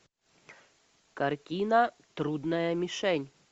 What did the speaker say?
картина трудная мишень